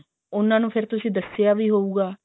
ਉਹਨਾਂ ਨੂੰ ਫੇਰ ਤੁਸੀਂ ਦਸਿਆ ਵੀ ਹੋਊਗਾ